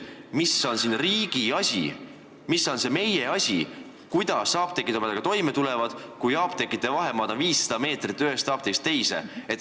Mis on see riigi asi või mis on see meie asi, kuidas apteegid omadega toime tulevad, juhul kui nende vahemaa on üksteisest 500 meetrit?